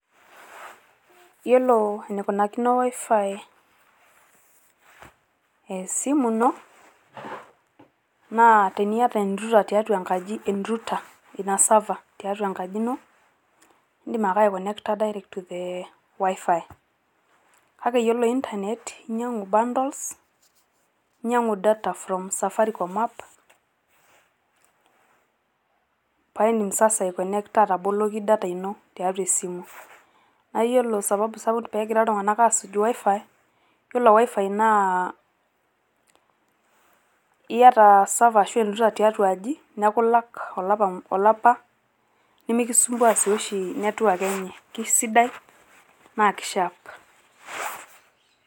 yiolo enikunakino wifi esimu ino naa teniata e router tiatua enkaji e router ina server tiatua enkaji ino indim ake aiconnecta )direct to the wifi kake iyiolo internet inyiangu bundles inyiangu data from safaricom app paidim sasa aikonecta ataboloki data ino tiatua esimu. naa iyiolo sababu sapuk pegira iltunganak asuj wifi ,yilo wifi naa iyata server ashuaa erouter tiatia aji niaku ilak olapa mu olapa nimikisumbua si oshi network enye kisidai naa ki sharp